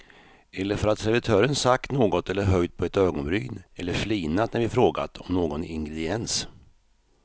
Eller för att servitören sagt något eller höjt på ett ögonbryn eller flinat när vi frågat om någon ingrediens.